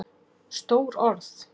Stór orð?